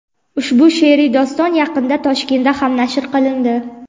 Ushbu she’riy doston yaqinda Toshkentda ham nashr qilindi.